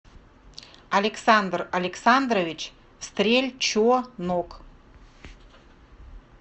александр александрович стрельчонок